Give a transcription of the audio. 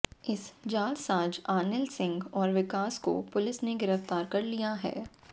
इस जालसाज आनिल सिंह और विकास को पुलिस ने गिरफ्तार कर लिया है